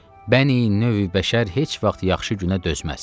Bəni-növ-i bəşər heç vaxt yaxşı günə dözməz.